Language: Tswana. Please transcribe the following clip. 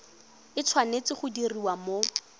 e tshwanetse go diriwa mo